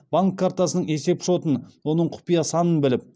банк картасының есепшотын оның құпия санын біліп